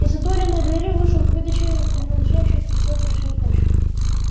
из отворенной двери вышел какой-то человек принадлежащий к разряду заказчиков